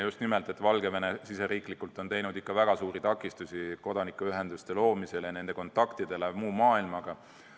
Just nimelt seepärast, et Valgevene on riigisiseselt teinud ikka väga suuri takistusi kodanikuühenduste loomiseks ja nende kontaktideks muu maailmaga.